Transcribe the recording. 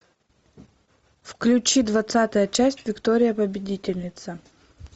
включи двадцатая часть виктория победительница